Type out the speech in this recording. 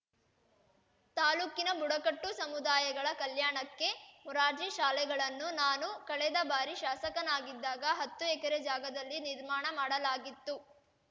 ತಾಲೂಕಿನ ಬುಡಕಟ್ಟು ಸಮುದಾಯಗಳ ಕಲ್ಯಾಣಕ್ಕೆ ಮೊರಾರ್ಜಿ ಶಾಲೆಗಳನ್ನು ನಾನು ಕಳೆದ ಬಾರಿ ಶಾಸಕನಾಗಿದ್ದಾಗ ಹತ್ತು ಎಕರೆ ಜಾಗದಲ್ಲಿ ನಿರ್ಮಾಣ ಮಾಡಲಾಗಿತ್ತು